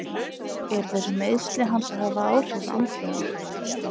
Eru þessi meiðsli hans að hafa áhrif andlega?